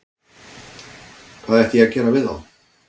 Hvað ætti ég að gera við þá?